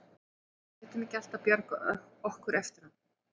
Við getum ekki alltaf bjargað okkur eftir á.